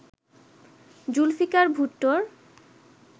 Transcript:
Zulfikar ভুট্টোর